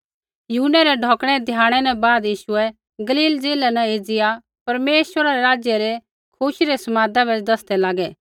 यूहन्नै रै ढौकिणै धियाणै न बाद यीशुऐ गलील ज़िलै न एज़िया परमेश्वरै रै राज्य रै खुशी रै समादा बै दसदै लागै